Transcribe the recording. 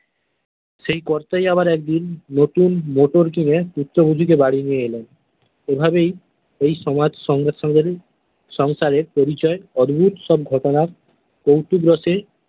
সেই কর্তাই আবার একদিন নতুন মোটর কিনে পুত্রবধূকে বাড়ী নিয়ে এলেন এভাবেই এই সমাজ সংসারে পরিচয় অদ্ভুত সব ঘটনার কৌতুক রসে।